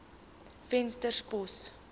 venterspost